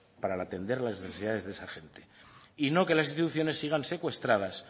para atender las necesidades de esa gente y no que las instituciones sigan secuestradas